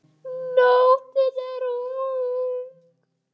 Nóttin er ung